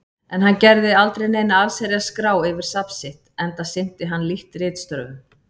En hann gerði aldrei neina allsherjar-skrá yfir safn sitt, enda sinnti hann lítt ritstörfum.